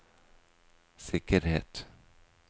sikkerhet